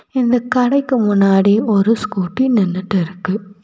இந்த கடைக்கு முன்னாடி ஒரு ஸ்கூட்டி நின்னுட்டு இருக்கு.